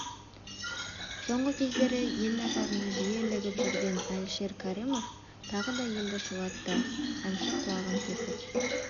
соңғы кездері ел назарына жиі ілігіп жүрген әлішер кәрімов тағы да елді шулатты әнші құлағын тесіп